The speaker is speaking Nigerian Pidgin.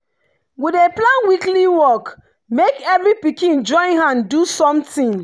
we dey plan weekly work make every pikin join hand do something.